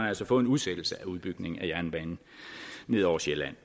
altså fået en udsættelse af udbygningen af jernbanen ned over sjælland